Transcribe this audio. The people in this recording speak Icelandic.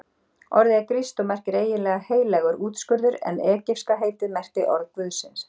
Orðið er grískt og merkir eiginlega heilagur útskurður en egypska heitið merkti orð guðsins.